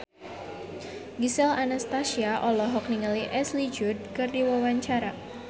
Gisel Anastasia olohok ningali Ashley Judd keur diwawancara